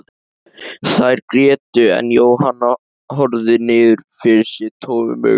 Þær grétu en Jóhann horfði niður fyrir sig tómum augum.